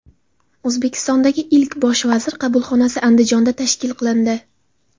O‘zbekistondagi ilk Bosh vazir qabulxonasi Andijonda tashkil qilindi.